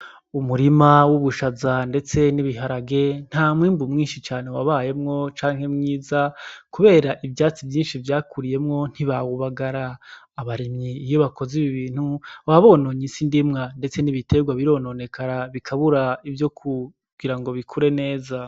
Umurima w'ubushaza ndetse n'ibiharage, nta mwimbu mwinshi cane wabayemwo canke mwiza kubera ivyatsi vyinshi vyakuriyemwo ntibawubagara. Abarimyi iyo bakoze ibi bintu, waba bononye isi ndimwa ndetse n'ibiterwa birononekara bikabura ivyo kugira ngo bikure neza.